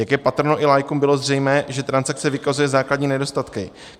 Jak je patrno, i laikům bylo zřejmé, že transakce vykazuje základní nedostatky.